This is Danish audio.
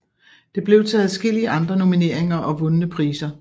Det blev til adskillige andre nomineringer og vundne priser